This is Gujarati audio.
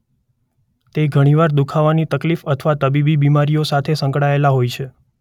તે ઘણી વાર દુખાવાની તકલીફ અથવા તબીબી બિમારીઓ સાથે સંકળાયેલા હોય છે.